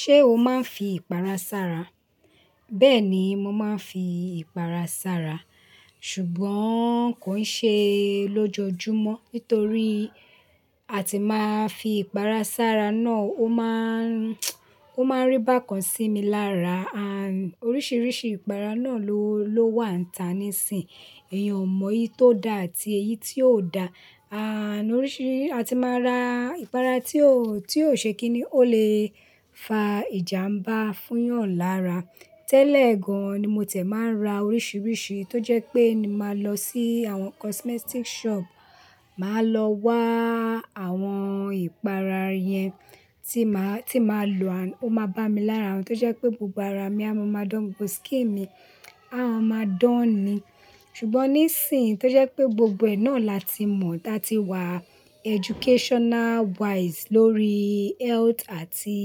Ṣé o máa ń fi ìpara sára? Bẹ́ẹ̀ni, mo máa ń fi ìpara sára. Ṣùgbọ́n kò ń ṣe ló jọjú mọ́, nítorí a ti máa fi ìpara sára náà ó máa ń, ó máa ńrí bákan sí mi lára. Àn, oríṣiríṣi ìpara náà ló, ló wà nta nísín. Ẹ̀yan ò mọ èyí tó da àti èyí tí ò da. Àn, oríṣiríṣi a ti máa ra ìpara tí ó, tí ò ṣe kíní ó lè fa ìjàmbá fún eyàn lára. Tẹ́lẹ̀ gan-an ni mo tẹ̀ máa ń ra oríṣiríṣi tó jẹ́ pé ni màá lọ sí àwọn cosmetic shop. Màá lọ wá àwọn ìpara yẹn tí màá, tí màá lò, an oma bá mi lára wọn tó jẹ́ pé gbogbo ara mi á máa dán, gbogbo skin mi á máa dán ni. Ṣùgbọ́n níìsín tó jẹ́ pé gbogbo ẹ̀ náà là tí mọ̀, tà tí wà educational wise lórí health àti,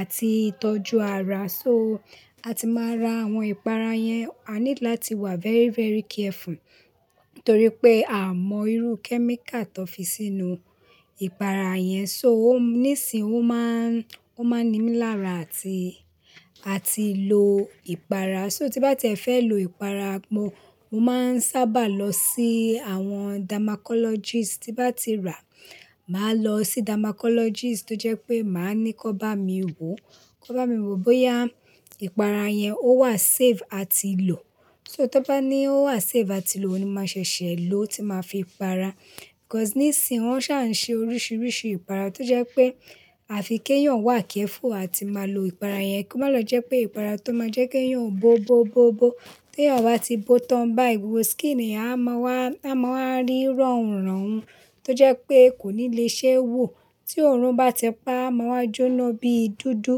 àti ìtọ́jú ara. So a ti máa ra àwọn ìpara yẹn, a need làti wà very, very careful. Nítorí pé a mọ irú kẹ́míkà tó fi sínú ìpara yẹn. So ó níìsín ó máa ń, ó máa ń ní mi lára àti, àti lò ìpara. So tí bá ti ẹ fẹ́ lò ìpara, mo, mo máa ń sábà lọ sí àwọn damacologist. Tí bá ti rà, màá lọ sí damacologist tó jẹ́ pé màá ní kí ó bá mi wò. Kó bá mi wò bóyá ìpara yẹn ó wà safe àti lò. So tí ó bá ní ó wà safe àti lò ni màá ṣẹ̀ṣẹ̀ lò tí màá fi para. Because níìsín wọ́n ṣà ń ṣe oríṣiríṣi ìpara tó jẹ́ pé a fi kí èèyàn wà careful àti máa lò ìpara yẹn. Kí ó má lọ jẹ́ pé ìpara tó máa jẹ́ kí èèyàn bó, bó, bó, bó. Tí èèyàn bá ti bó tán báyii, gbogbo skin ẹ̀yan a máa wá, a máa wà rí rọrùn, rọrùn tó jẹ́ pé kò ní le ṣe wò. Tí òórùn bá ti pá, a máa wá jóná bí dúdú.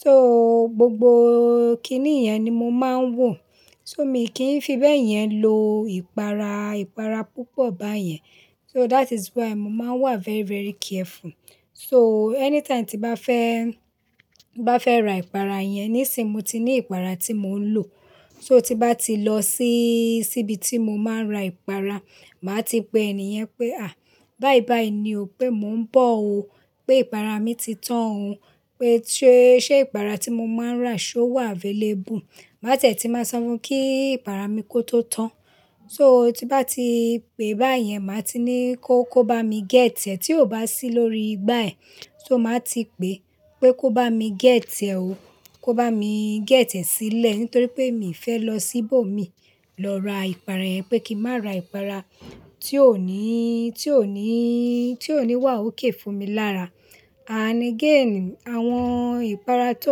So gbogbo kínní yẹn ni mo máa ń wò. So mi kì fi bẹ́ẹ̀ yẹn lo ìpara, ìpara púpọ̀ bá yẹn. So that is why mo máa ń wà very, very careful. So anytime tí bá fẹ́, bá fẹ́ rà ìpara yẹn, níìsín mo ti ní ìpara tí mò ń lò. So tí bá ti lọ sí, síbi tí mo máa ń ra ìpara, màá ti pe ẹniyẹn pé, à, bai bai ni o pé mò ń bọ̀ o. Pé ìpara mi ti tán o. Pé ṣe, ṣe ìpara tí mo máa ń rà ṣó wà available? Màá tẹ̀ tí màá sọ fun kí ìpara mi kó tó tán. So tí bá ti pe báyẹn, màá ti ní kó, kó bá mi gẹ̀t tiẹ́. Tí ò bá sí lórí igbá ẹ̀, so màá ti pe pé kó bá mi gẹ̀t tiẹ́ o. Kó bá mi gẹ̀t tiẹ́ sílẹ̀ nítorí pé mi fẹ́ lọ síbò mi lọ ra ìpara yẹn pé kí n má ra ìpara tí ò ní, tí ò ní, tí ò ní wà okay fún mi lára. Ànd again àwọn ìpara tó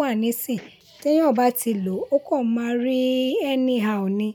wà níìsín tí èèyàn bá ti lò ó kàn máa rí anyhow ni.